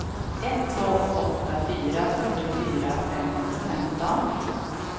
ett två åtta fyra fyrtiofyra femhundrafemton